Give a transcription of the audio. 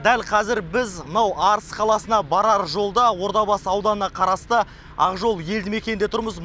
дәл қазір біз мынау арыс қаласына барар жолда ордабасы ауданына қарасты ақжол елді мекенінде тұрмыз